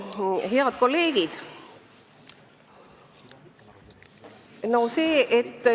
Head kolleegid!